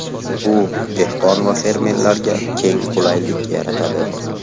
Bu dehqon va fermerlarga keng qulaylik yaratadi.